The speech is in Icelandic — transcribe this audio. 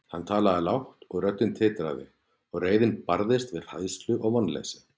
Hann talaði lágt, og röddin titraði, og reiðin barðist við hræðslu og vonleysi.